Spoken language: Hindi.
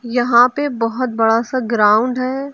यहां पे बहुत बड़ा सा ग्राउंड है।